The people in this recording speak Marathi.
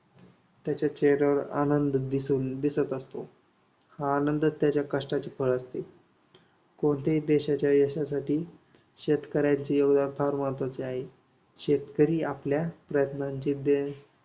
त्याच्या चेहऱ्यावर आनंद दिसत असतो. हा आनंद त्याच्या कष्टाचे फळ असते. कोणत्याही देशाच्या यशासाठी शेतकऱ्याचं योगदान फार महत्त्वाचे आहे. शेतकरी आपल्या प्रयत्नांची